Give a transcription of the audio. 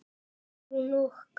Björg Rún og Katrín Ósk.